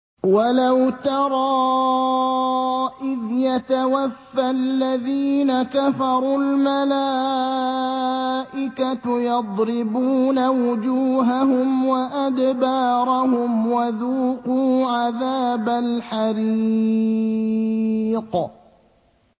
وَلَوْ تَرَىٰ إِذْ يَتَوَفَّى الَّذِينَ كَفَرُوا ۙ الْمَلَائِكَةُ يَضْرِبُونَ وُجُوهَهُمْ وَأَدْبَارَهُمْ وَذُوقُوا عَذَابَ الْحَرِيقِ